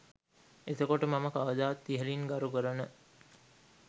එතකොට මම කවදත් ඉහලින් ගරු කරන